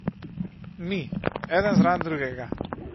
Mi, eden zraven drugega.